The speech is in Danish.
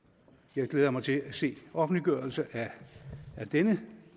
jeg glæder mig til at se offentliggørelsen af dette